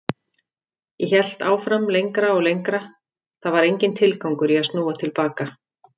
Ég hélt áfram lengra og lengra, það var enginn tilgangur í að snúa til baka.